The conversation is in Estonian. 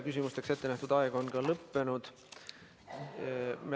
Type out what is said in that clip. Küsimusteks ette nähtud aeg on lõppenud.